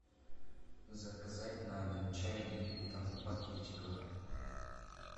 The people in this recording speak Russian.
заказать на дом чай липтон в пакетиках